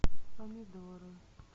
помидоры